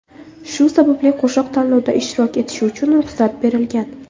Shu sababli qo‘shiq tanlovda ishtirok etishi uchun ruxsat berilgan.